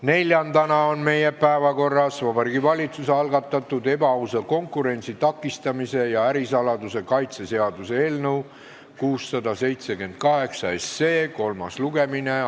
Neljandana on meie päevakorras Vabariigi Valitsuse algatatud ebaausa konkurentsi takistamise ja ärisaladuse kaitse seaduse eelnõu 678 kolmas lugemine.